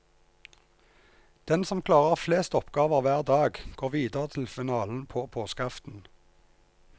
Den som klarer flest oppgaver hver dag, går videre til en finalen på påskeaften.